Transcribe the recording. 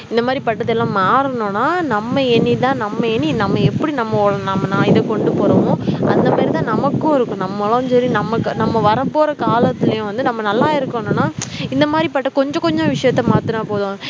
இந்த மாதிரி பட்டதெல்லாம் மாறணும்னா நம்ம எண்ணி தான் நம்ம எண்ணி நம்ம எப்படி நம்ம நா இத கொண்டு போறோமோ அந்த மாதிரி தான் நமக்கும் இருக்கும் நம்மளும் சரி நமக்கு நம்ம வரப்போற காலத்துலயும் வந்து நம்ம நல்லா இருக்கணும்னா இந்த மாதிரிப்பட்ட கொஞ்ச கொஞ்ச விஷயத்த மாத்தினா போதும்